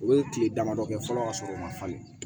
U ye tile damadɔ kɛ fɔlɔ ka sɔrɔ u ma falen